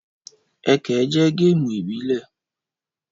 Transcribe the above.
Ẹkẹ jẹ́ géèmù ìbílẹ̀